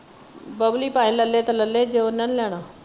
ਬਬਲੀ ਭਾਵੇਂ ਲੈ ਲੈ ਤੇ ਲੱਲੇ ਪਰ ਓਹਨਾ ਨਹੀਂ ਲੈਣਾ।